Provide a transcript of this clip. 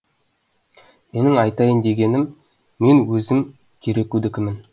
менің айтайын дегенім мен өзім керекудікімін